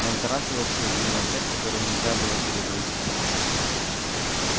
на этот раз его посадили на цепь которую нельзя было перегрызть